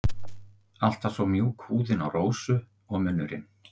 Alltaf svo mjúk húðin á Rósu og munnurinn.